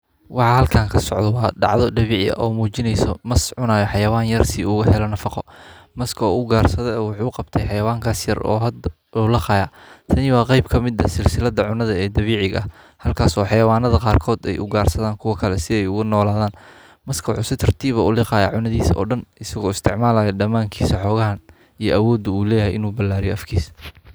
Waa halkaan ka socda waa dhacdo dhabici ah u muujinayso. Mas cunaya xayawaan yar sii ugu hela nafaqo. Maska oo u gaarsaday wuxuu qabtay xayawaankas yer oo had ulaqaya. Tani waa qayb ka mid ah silsilada cunada ee dabiiciga. Halkaasoo xayawaanada qaarkood ay u gaarsadaan kuwa kale si ay uga nooladaan maska wuxu tartiiba uu liqaa cunadiisa odhan isagoo isticmaalaa dhammaan kiisa xoga ahaan i awooddu u leh ay u ballaariyee afkisa.